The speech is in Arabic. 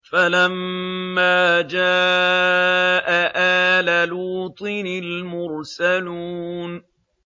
فَلَمَّا جَاءَ آلَ لُوطٍ الْمُرْسَلُونَ